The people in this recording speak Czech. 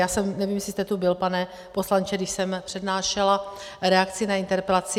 Já nevím, jestli jste tu byl, pane poslanče, když jsem přednášela reakci na interpelaci.